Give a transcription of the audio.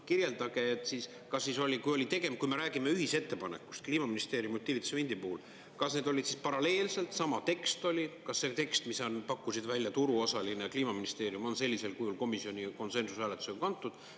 Kirjeldage siis, kas siis oli, kui me räägime ühisettepanekust, Kliimaministeeriumi ja Utilitas Windi puhul, kas need olid paralleelselt, sama tekst oli, kas see tekst, mis pakkusid välja turuosaline ja Kliimaministeerium, on sellisel kujul komisjoni konsensushääletusega kantud.